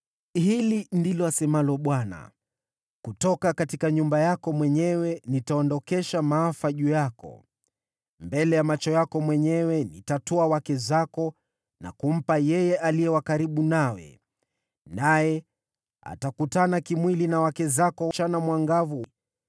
“Hili ndilo asemalo Bwana : ‘Kutoka kwa nyumba yako mwenyewe nitaleta maafa juu yako. Mbele ya macho yako mwenyewe nitatwaa wake zako na kumpa yeye aliye wa karibu nawe, naye atakutana kimwili na wake zako mchana mwangavu.